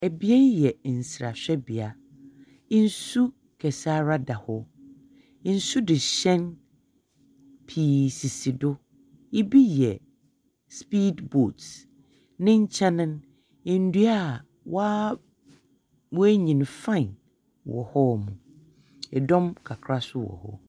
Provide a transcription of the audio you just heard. Bea yi yɛ nserahwɛ bea. Nsu kɛseara da hɔ. Nsumuhɛn pii sisi do. Bi yɛ speedboat. Ne nkyɛn no, ndua wɔa woenyin fann wɔ hɔ. Dɔm kakra so wɔ hɔ.